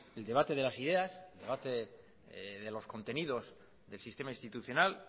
el debate de las ideas el debate de los contenidos del sistema institucional